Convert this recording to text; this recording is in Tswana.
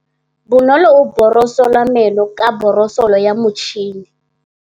Bonolô o borosola meno ka borosolo ya motšhine.